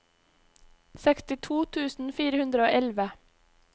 sekstito tusen fire hundre og elleve